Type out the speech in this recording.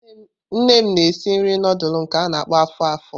Nne m na-esi nri nudulu nke a-na akpo afo-afo.